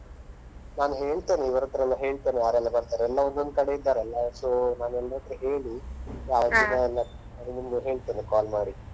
ನಾನು ಹೇಳ್ತೇನೆ ಇವರತ್ರ ಎಲ್ಲ ಹೇಳ್ತೇನೆ ಯಾರೆಲ್ಲ ಬರ್ತಾರೆ, ಎಲ್ಲ ಒಂದೊಂದು ಕಡೆ ಇದ್ದಾರಲ್ಲ so ನಾನು ಎಲ್ಲರತ್ರ ಹೇಳಿ ಆ ದಿನ ನಿಮ್ಗೆ ಹೇಳ್ತೇನೆ call ಮಾಡಿ.